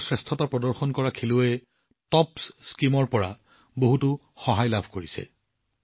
বহুতো শ্ৰেষ্ঠ প্ৰদৰ্শন কৰা খেলুৱৈয়েও টপছ আঁচনিৰ পৰা বহুত সহায় লাভ কৰিছে